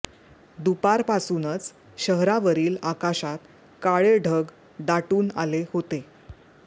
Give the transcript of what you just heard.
दुपारपासूनच शहरावरील आकाशात काळे ढग दाटून आले होते